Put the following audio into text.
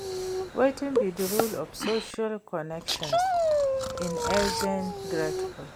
wetin be di role of social connections in aging gracefully?